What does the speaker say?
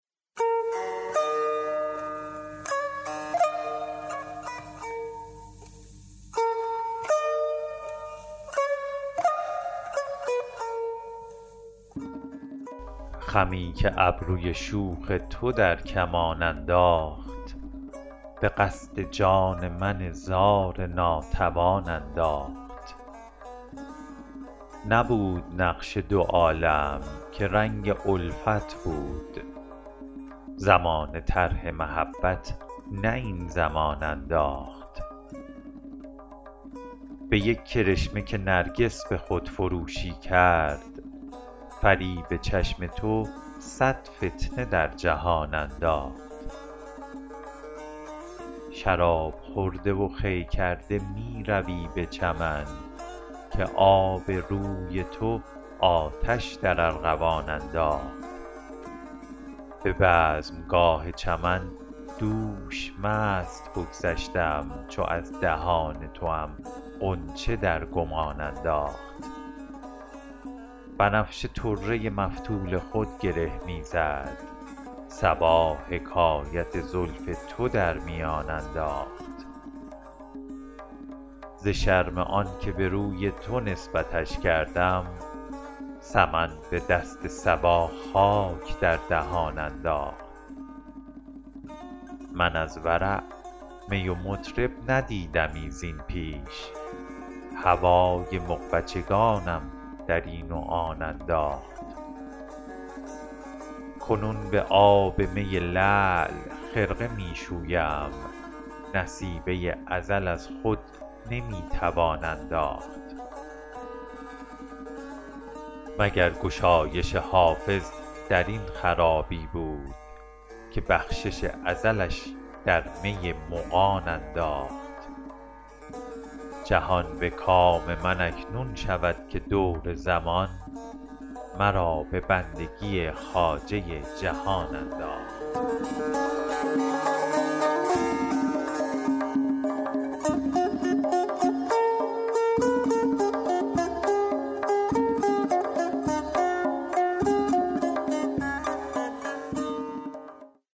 خمی که ابروی شوخ تو در کمان انداخت به قصد جان من زار ناتوان انداخت نبود نقش دو عالم که رنگ الفت بود زمانه طرح محبت نه این زمان انداخت به یک کرشمه که نرگس به خودفروشی کرد فریب چشم تو صد فتنه در جهان انداخت شراب خورده و خوی کرده می روی به چمن که آب روی تو آتش در ارغوان انداخت به بزمگاه چمن دوش مست بگذشتم چو از دهان توام غنچه در گمان انداخت بنفشه طره مفتول خود گره می زد صبا حکایت زلف تو در میان انداخت ز شرم آن که به روی تو نسبتش کردم سمن به دست صبا خاک در دهان انداخت من از ورع می و مطرب ندیدمی زین پیش هوای مغبچگانم در این و آن انداخت کنون به آب می لعل خرقه می شویم نصیبه ازل از خود نمی توان انداخت مگر گشایش حافظ در این خرابی بود که بخشش ازلش در می مغان انداخت جهان به کام من اکنون شود که دور زمان مرا به بندگی خواجه جهان انداخت